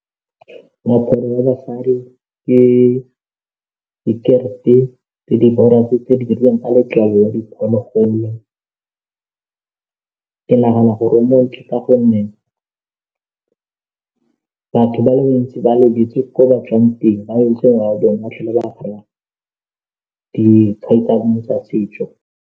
Moaparo wa basadi ke disekerete tse di borwa tse di dirilweng ka letlalo la diphologolo ke nagana gore o montle ka gonne batho ba le bantsi ba lebetse ko ba tswang teng ba dikhai tsa bone tsa setso.